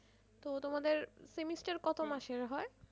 তো তোমাদের semester কতো মাসের হয়?